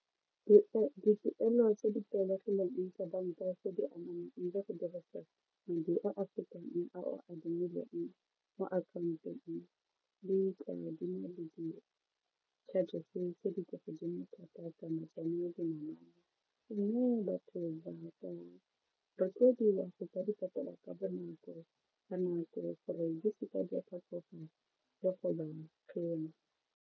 Dipoelo tse di tlwaelegileng tsa banka tse di go dirisa madi a a fetang a o a adimileng mo akhaontong charges tse di kwa godimo thata tsa dinamane mme batho go ka di patala ka bonako ka nako gore di se ka di a tlhatlhoga .